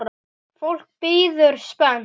Fólk bíður spennt.